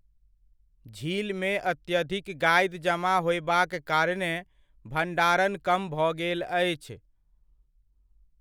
झीलमे अत्यधिक गादि जमा होयबाक कारणेँ भण्डारण कम भऽ गेल अछि।